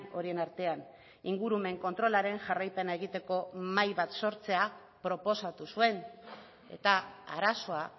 horien artean ingurumen kontrolaren jarraipena egiteko mahai bat sortzea proposatu zuen eta arazoa